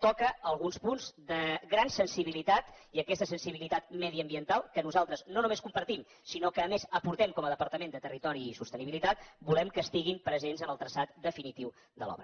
toca alguns punts de gran sensibilitat i aquesta sensibilitat mediambiental que nosaltres no només compartim sinó que a més aportem com a departament de territori i sostenibilitat volem que siguin presents en el traçat definitiu de l’obra